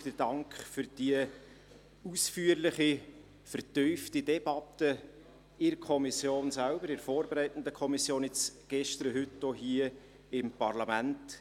Dank auszusprechen: den Dank für die ausführliche, vertiefte Debatte in der vorbereitenden Kommission sowie gestern und heute auch hier im Parlament.